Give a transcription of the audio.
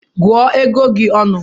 Gụọ ego gi ọnụ